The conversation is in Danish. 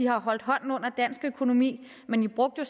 har holdt hånden under dansk økonomi men i brugte